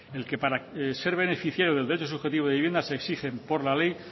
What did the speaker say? el que para ser beneficiario del derecho subjetivo de vivienda se exigen por la ley